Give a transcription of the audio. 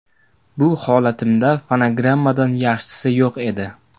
Bu holatimda fonogrammadan yaxshisi yo‘q edi.